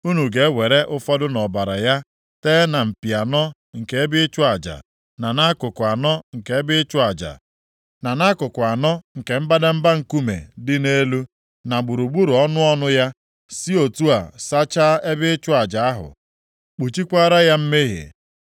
Unu ga-ewere ụfọdụ nʼọbara ya tee na mpi anọ nke ebe ịchụ aja, na nʼakụkụ anọ nke ebe ịchụ aja, na nʼakụkụ anọ nke mbadamba nkume dị nʼelu, na gburugburu ọnụ ọnụ ya, si otu a sachaa ebe ịchụ aja ahụ, kpuchikwaara ya mmehie.